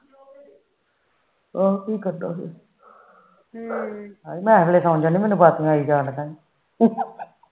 ਹੋਰ ਕੀ ਕਰਨਾ ਸੋ ਮੈਨੂੰ ਅਵਾਸੀਆਂ ਆਈ ਜਾਣਡੀਆ